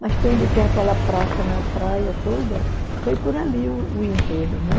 Mas tem onde tem aquela praça na praia toda, foi por ali o o enterro, né?